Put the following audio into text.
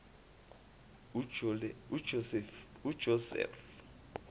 ujosefu